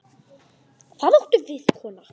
Set kryppu á bakið.